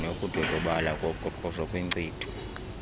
nokudodobala koqoqosho kwinkcitho